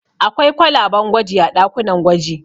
Akwai kwalaben gwaji a ɗakunan gwaji.